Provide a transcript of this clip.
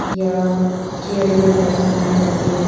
यह चेयरे वगैरा बनाई जाती है।